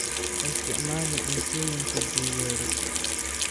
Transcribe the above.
Ha isticmaalin cuntooyinka duugoobay.